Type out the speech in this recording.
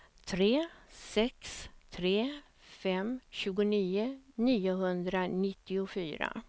tre sex tre fem tjugonio niohundranittiofyra